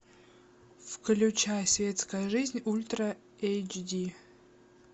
включай светская жизнь ультра эйч ди